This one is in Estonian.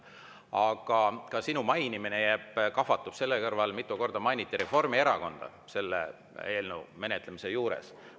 Aga sinu mainimine kahvatub selle kõrval, kui mitu korda mainiti Reformierakonda selle eelnõu menetlemise juures.